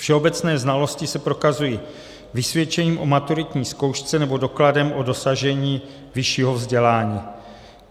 Všeobecné znalosti se prokazují vysvědčením o maturitní zkoušce nebo dokladem o dosažení vyššího vzdělání.